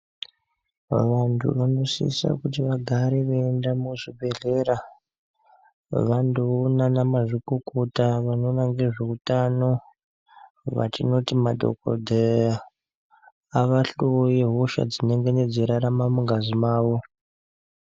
Vantu vanosisa kuti vagare veienda muzvibhehleya vandoona vanamazvikokota vanoona ngezveutano vatinoti madhokodheya avahloye hosha dzinonga dzeirarame mungazi mavo.